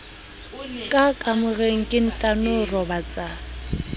ka kamoreng ke ntano robatsa